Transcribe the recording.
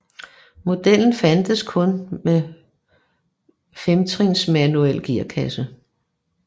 Modellen fandtes kun med femtrins manuel gearkasse